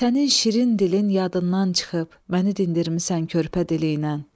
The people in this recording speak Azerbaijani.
Sənin şirin dilin yadından çıxıb, məni dindirmisən körpə diliylə.